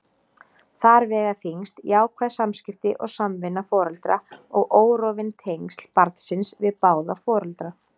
Þar vega þyngst jákvæð samskipti og samvinna foreldra og órofin tengsl barnsins við báða foreldra.